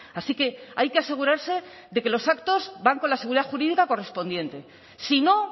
así que hay que asegurarse de que los actos van con la seguridad jurídica correspondiente si no